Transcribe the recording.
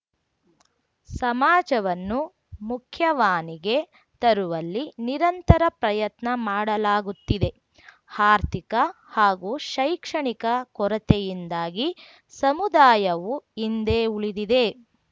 ಸಮಾಜವನ್ನು ಮುಖ್ಯವಾನಿಗೆ ತರುವಲ್ಲಿ ನಿರಂತರ ಪ್ರಯತ್ನ ಮಾಡಲಾಗುತ್ತಿದೆ ಆರ್ಥಿಕ ಹಾಗೂ ಶೈಕ್ಷಣಿಕ ಕೊರತೆಯಿಂದಾಗಿ ಸಮುದಾಯವು ಹಿಂದೆ ಉಳಿದಿದೆ